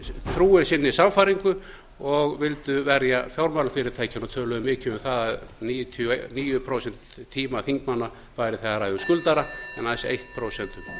trúir sinni sannfæringu og vildu verja fjármálafyrirtækin töluðu mikið um það að níutíu og níu prósent tíma þingmanna væri í að ræða um skuldara en aðeins eitt prósent um